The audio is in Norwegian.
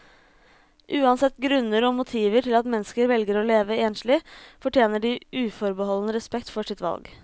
Uansett grunner og motiver til at mennesker velger å leve enslig, fortjener de uforbeholden respekt for sitt valg.